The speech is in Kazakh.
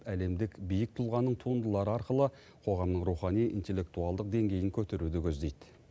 әлемдік биік тұлғаның туындылары арқылы қоғамның рухани интеллектуалдық деңгейін көтеруді көздейді